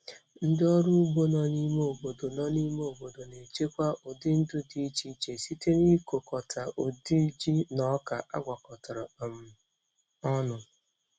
Ndị ọrụ ugbo nọ n'ime obodo nọ n'ime obodo na-echekwa ụdị ndụ dị iche iche site n'ịkọkọta ụdị ji na ọka agwakọtara um ọnụ.